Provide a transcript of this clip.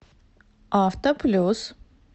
авто плюс